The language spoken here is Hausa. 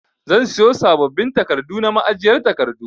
Zan siyo sabbabin takardu na ma'ajiyar takardu.